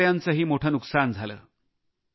शेतकऱ्यांचेही मोठे नुकसान झाले